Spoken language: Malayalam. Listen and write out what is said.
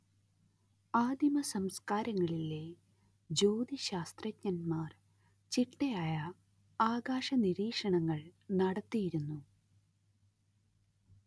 ആദിമസംസ്‌കാരങ്ങളിലെ ജ്യോതിശാസ്ത്രജ്ഞന്മാർ ചിട്ടയായ ആകാശനിരീക്ഷണങ്ങൾ നടത്തിയിരുന്നു